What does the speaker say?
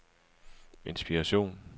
inspiration